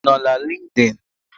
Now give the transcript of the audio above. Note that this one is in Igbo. Ị nọ na LinkedIn?